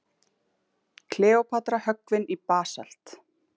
Kleópatra höggvin í basalt.